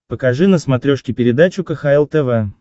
покажи на смотрешке передачу кхл тв